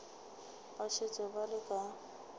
ba šetše ba le ka